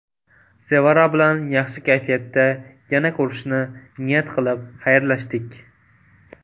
Sevara bilan yaxshi kayfiyatda, yana ko‘rishishni niyat qilib xayrlashdik.